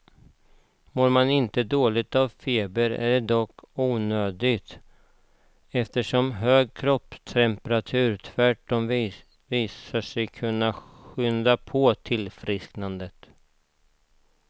Mår man inte dåligt av febern är det dock onödigt, eftersom hög kroppstemperatur tvärtom visat sig kunna skynda på ett tillfrisknande.